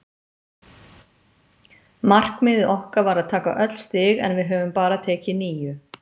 Markmiðið okkar var að taka öll stig en við höfum bara tekið níu.